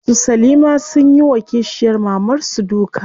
Su salima sunyi wa kishiyar mamar su duka.